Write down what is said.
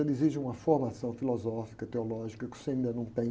Ele exige uma formação filosófica, teológica, que você ainda não tem.